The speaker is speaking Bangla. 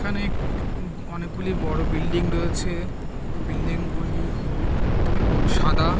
এখানে অনেকগুলি বড়ো বিল্ডিং রয়েছে। বিল্ডিংগুলি হলুদ এবং সাদা ।